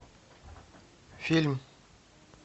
фильм